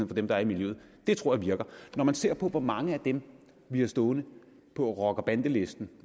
for dem der er i miljøet det tror jeg virker når man ser på hvor mange af dem vi har stående på rocker bande listen